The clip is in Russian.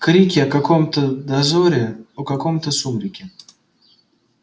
крики о каком-то дозоре о каком-то сумраке